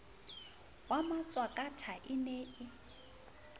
wa matshwakatha e ne e